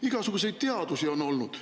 Igasugust teadust on olnud.